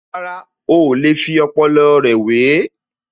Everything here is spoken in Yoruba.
Rárá, oò lè fi ọpọlọ rẹ̀ wè é